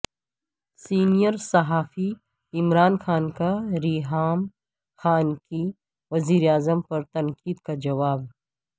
senior صحافی عمران خان کا ریحام خان کی وزیر اعظم پر تنقید کا جواب